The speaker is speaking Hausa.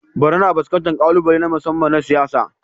Borno na fuskantar ƙalubale na musamman na siyasa.